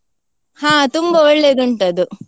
ಹಾ ತುಂಬಾ ಒಳ್ಳೆದುಂಟದು.